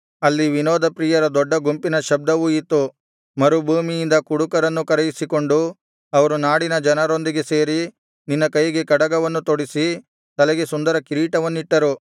ಅಲ್ಲಿ ವಿನೋದ ಪ್ರಿಯರ ದೊಡ್ಡ ಗುಂಪಿನ ಶಬ್ದವು ಇತ್ತು ಮರುಭೂಮಿಯಿಂದ ಕುಡುಕರನ್ನೂ ಕರೆಯಿಸಿಕೊಂಡು ಅವರು ನಾಡಿನ ಜನರೊಂದಿಗೆ ಸೇರಿ ನಿನ್ನ ಕೈಗೆ ಕಡಗವನ್ನು ತೊಡಿಸಿ ತಲೆಗೆ ಸುಂದರ ಕಿರೀಟವನ್ನಿಟ್ಟರು